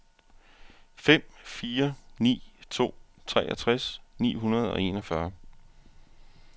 fem fire ni to treogtres ni hundrede og enogfyrre